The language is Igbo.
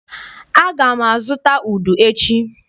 Aga m azụta udu echi.